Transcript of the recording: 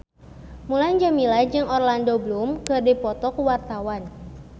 Mulan Jameela jeung Orlando Bloom keur dipoto ku wartawan